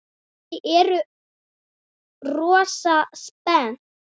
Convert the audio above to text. Þau eru rosa spennt.